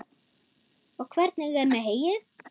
Og hvernig er með heyið?